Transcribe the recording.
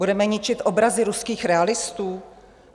Budeme ničit obrazy ruských realistů?